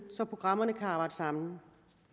så programmerne kan arbejde sammen